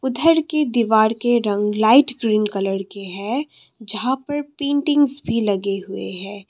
उधर की दीवार के रंग लाइट ग्रीन कलर के हैं जहां पर पेंटिंग्स भी लगे हुए हैं।